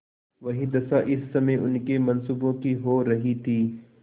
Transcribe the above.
वही दशा इस समय उनके मनसूबों की हो रही थी